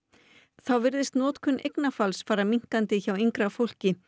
þá virðist notkun eignarfalls fara minnkandi hjá yngra fólki